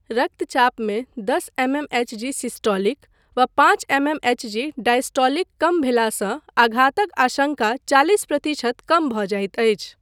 रक्तचापमे दस mmHg systolic वा पाँच एमएमएचजी डायस्टोलिक कम भेलासँ आघातक आशङ्का चालिस प्रतिशत कम भऽ जाइत अछि।